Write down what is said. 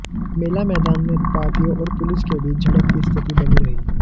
मेला मैदान में उत्पातियों और पुलिस के बीच झड़प की स्थिति बनी रहीं